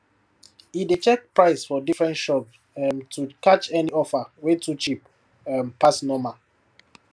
e dey check price for different shops um to catch any offer wey too cheap um pass normal